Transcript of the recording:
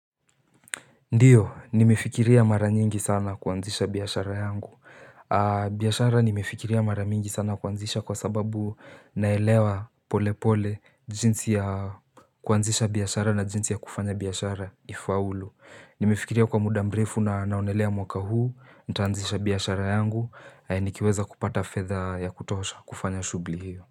Ndio, nimefikiria mara nyingi sana kuanzisha biashara yangu biashara nimefikiria mara mingi sana kuanzisha kwa sababu naelewa pole pole jinsi ya kuanzisha biashara na jinsi ya kufanya biashara ifaulu Nimefikiria kwa muda mrefu na naonelea mwaka huu, nitaanzisha biashara yangu, nikiweza kupata feadha ya kutosha kufanya shughli hio.